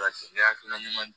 Ne hakilina ɲuman